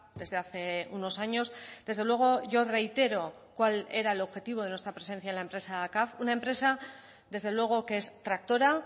desde hace unos años desde luego yo reitero cuál era el objetivo de nuestra presencia en la empresa caf una empresa desde luego que es tractora